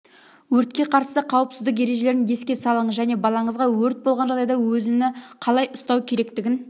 өртке қарсы қауіпсіздік ережелерін еске салыңыз және балаңызға өрт болған жағдайда өзіні қалай ұстау керектігін